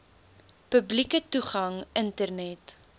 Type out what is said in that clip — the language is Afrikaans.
publieke toegang internet